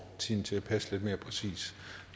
tiden til at passe